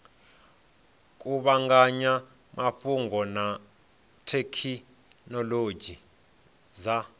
kuvhanganya mafhungo na thekhinolodzhi dza